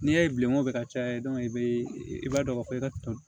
N'i y'a ye bilen o bɛ ka caya i bɛ i b'a dɔn k'a fɔ i ka tɔn